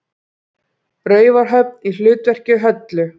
Raufarhöfn í hlutverki Höllu.